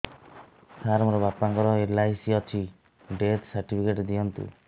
ସାର ମୋର ବାପା ଙ୍କର ଏଲ.ଆଇ.ସି ଅଛି ଡେଥ ସର୍ଟିଫିକେଟ ଦିଅନ୍ତୁ